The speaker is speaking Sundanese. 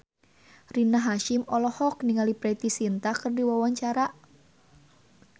Rina Hasyim olohok ningali Preity Zinta keur diwawancara